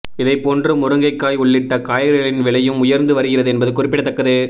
இதைப்போன்று முருங்கைக்காய் உள்ளிட்ட காய்கறிகளின் விலையும் உயர்ந்து வருகிறது என்பது குறிப்பிடத்தக்கது